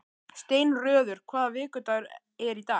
Steinröður, hvaða vikudagur er í dag?